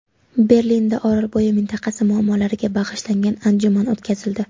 Berlinda Orolbo‘yi mintaqasi muammolariga bag‘ishlangan anjuman o‘tkazildi.